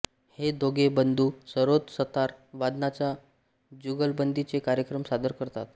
हे दोघे बंधू सरोद सतार वादनाच्या जुगलबंदीचे कार्यक्रम सादर करतात